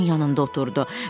Tom da onun yanında oturdu.